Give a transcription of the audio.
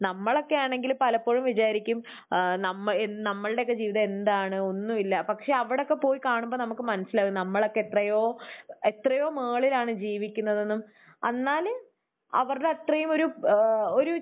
നമ്മളൊക്കെയാണെങ്കിൽ പലപ്പോഴും വിചാരിക്കും ഏഹ് നമ്മ ഏഹ് നമ്മളുടെയൊക്കെ ജീവിതം എന്താണ്. ഒന്നുമില്ല. പക്ഷെ അവിടെയൊക്കെ പോയി കാണുമ്പോൾ നമുക്ക് മനസ്സിലാകും നമ്മളൊക്കെ എത്രയോ എത്രയോ മുകളിലാണ് ജീവിക്കുന്നതെന്നും എന്നാൽ അവരുടെ അത്രയും ഒരു ഏഹ് ഒരു